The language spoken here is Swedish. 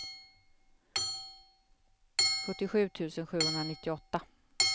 sjuttiosju tusen sjuhundranittioåtta